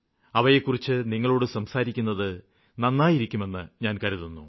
അവയെക്കുറിച്ച് നിങ്ങളോട് സംസാരിക്കുന്നത് നന്നായിരിക്കുമെന്ന് ഞാന് കരുതുന്നു